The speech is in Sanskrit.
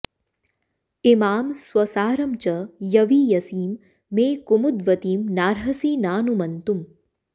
इमां स्वसारं च यवीयसीं मे कुमुद्वतीं नार्हसि नानुमन्तुं